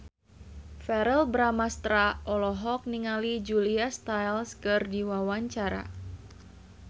Verrell Bramastra olohok ningali Julia Stiles keur diwawancara